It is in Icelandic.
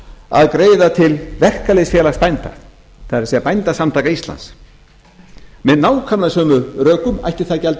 að greiða til verkalýðsfélags bænda það er bændasamtaka íslands með nákvæmlega sömu rökum ætti það gjald